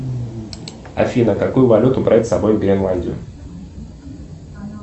афина какую валюту брать с собой в гренландию